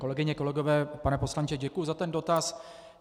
Kolegyně, kolegové, pane poslanče, děkuji za ten dotaz.